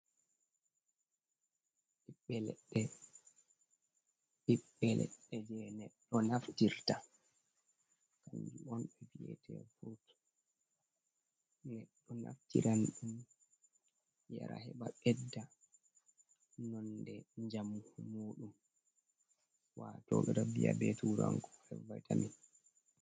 "Ɓiɓɓe leɗɗe"ɓiɓɓe leɗɗe je neɗɗo naftirta kanjun on ɓevi'ete furuts neɗɗo naftiran ɗum yara he ba ɓedda nonde njamu muɗum wato ɓeɗo vi'a be turankore vaita min.